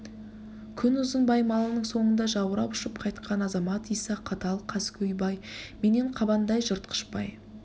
күнұзын бай малының соңында жаурап ұшып қайтқан азамат иса қатал қаскөй бай менен қабандай жыртқыш бай